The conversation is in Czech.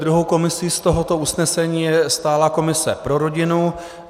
Druhou komisí z tohoto usnesení je stálá komise pro rodinu.